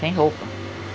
Sem roupa.